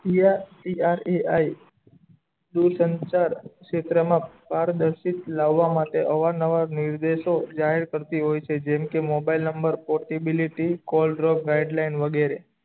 T R T R A I એ સંસાર ક્ષેત્ર મા પારદર્શિત લાવા માટે આવા નવા નિર્દેશો જાહેર કરતો હોય છે જેમ કે mobile number potability wide line વગેરે